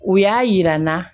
U y'a yira n na